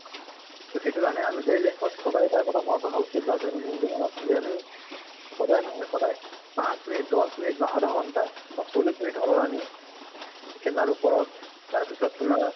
তʼ সেইটো কাৰণে আমি daily life ত সদায় এটা কথা মনত ৰখা উচিত বা দৈনন্দিন জীৱনত যে আমি সদায় নহয় সদায় পাঁছ মিনিট দশ মিনিট বিছ মিনিট বা আধা ঘন্টা বা চল্লিছ মিনিট হলেওঁ আমি খেলাৰ ওপৰত তাৰ পিছত তোমাৰ